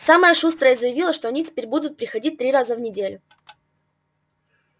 самая шустрая заявила что они теперь будут приходить три раза в неделю